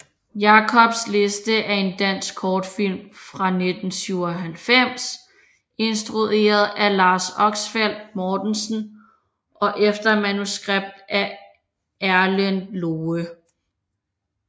Jacobs liste er en dansk kortfilm fra 1997 instrueret af Lars Oxfeldt Mortensen og efter manuskript af Erlend Loe